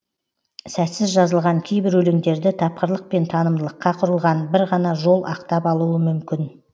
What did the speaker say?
сәтсіз жазылған кейбір өлеңдерді тапқырлық пен танымдылыққа құрылған бір ғана жол ақтап алуы мүмкін